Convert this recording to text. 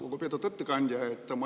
Lugupeetud ettekandja!